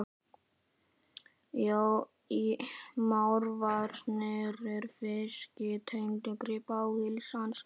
Mávarnir með fiski-tægjuna grípa athygli hans.